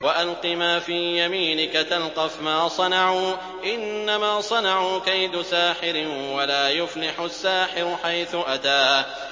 وَأَلْقِ مَا فِي يَمِينِكَ تَلْقَفْ مَا صَنَعُوا ۖ إِنَّمَا صَنَعُوا كَيْدُ سَاحِرٍ ۖ وَلَا يُفْلِحُ السَّاحِرُ حَيْثُ أَتَىٰ